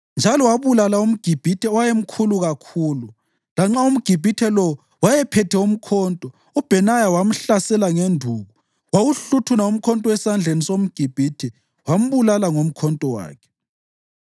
Njalo wabulala umGibhithe owayemkhulu kakhulu. Lanxa umGibhithe lowo wayephethe umkhonto, uBhenaya wamhlasela ngenduku. Wawuhluthuna umkhonto esandleni somGibhithe wambulala ngomkhonto wakhe.